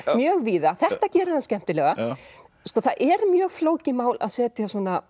mjög víða þetta gerir hann skemmtilega sko það er mjög flókið mál að setja